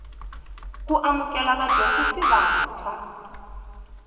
ku amukela vadyondzi vantshwa